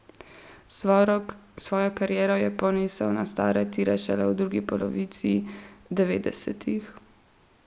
Svojo kariero je ponesel na stare tire šele v drugi polovici devetdesetih.